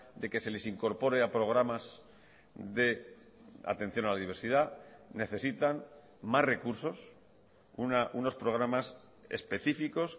de que se les incorpore a programas de atención a la diversidad necesitan más recursos unos programas específicos